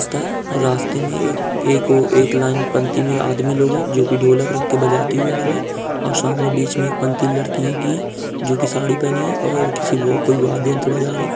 रास्ते में एक को एक लाइन पंक्ति में आदमी लोग हैं जो की ढोलक रखकर बजाते हुए आ रहे हैं और सामने बीच में एक पंक्ति लड़कियों की है जो की साड़ी पहनी है और वह किसी वह कोई वाद्य यंत्रबजा रहे है ।